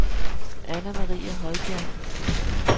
Anna-Marie Højbjerg